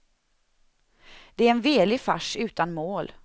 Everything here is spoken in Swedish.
Det är en velig fars utan mål.